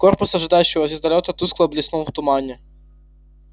корпус ожидающего звездолёта тускло блеснул в тумане